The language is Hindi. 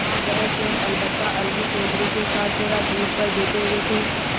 हाँ वह स्वयं अलबत्ता अलगू चौधरी के साथ जरा दूर पर बैठे हुए थे